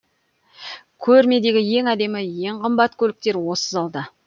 көрмедегі ең әдемі ең қымбат көліктер осы залда